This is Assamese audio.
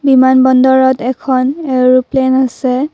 বিমান বন্দৰত এখন এৰোপ্লেন আছে।